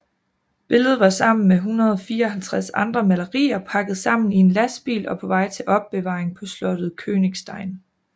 Billede var sammen med 154 andre malerier pakket sammen i en lastbil og på vej til opbevaring på slottet Königstein